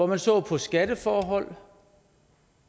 man så på skatteforhold